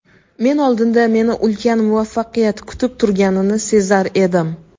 Men oldinda meni ulkan muvaffaqiyat kutib turganini sezar edim.